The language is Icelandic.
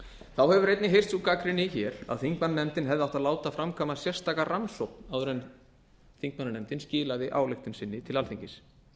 þá hefur einnig heyrst sú gagnrýni hér að þingmannanefndin hefði átt að láta framkvæma sérstaka rannsókn áður en þingmannanefndin skilaði ályktun sinni til alþingis